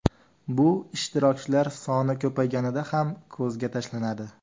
Bu ishtirokchilar soni ko‘payganida ham ko‘zga tashlanadi.